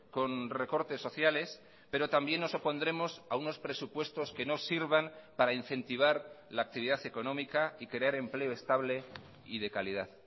con recortes sociales pero también nos opondremos a unos presupuestos que no sirvan para incentivar la actividad económica y crear empleo estable y de calidad